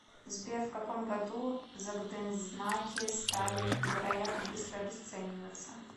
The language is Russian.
сбер в каком году закдензнаки стали невероятно быстро обесцениваться